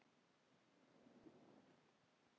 Mesta eldhús feilið?